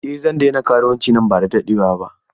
Eh zan daina karuwanci nan ba da daɗewa ba.